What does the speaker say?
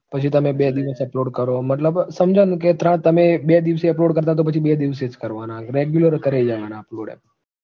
પછી તમે બે દિવસે upload કરો મતલબ સમજાયું ને કે તમે બે દિવસે upload કરતા તો પછી જ બે દિવસે કરવાના હવે, regular કરે જવાના upload